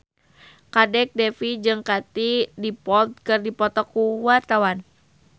Kadek Devi jeung Katie Dippold keur dipoto ku wartawan